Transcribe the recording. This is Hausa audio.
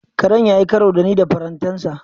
Karen ya yi karo da ni da farantansa.